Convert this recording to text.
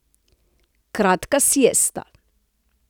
Kratka siesta.